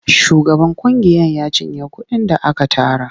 Shugaban ƙungiyar ya cinye kuɗin da aka tara.